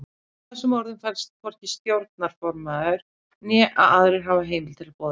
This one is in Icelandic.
Í þessum orðum felst að hvorki stjórnarformaður né aðrir hafa heimild til boðunar.